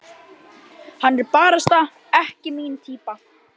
Hann er barasta ekki mín týpa.